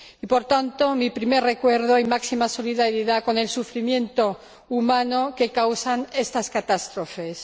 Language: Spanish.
Por tanto, mi primer recuerdo y máxima solidaridad con el sufrimiento humano que causan estas catástrofes.